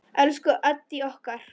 Elsku Addý okkar.